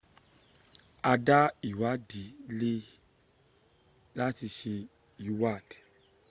a dá ìwádi lẹ̀ lati ṣe ìwád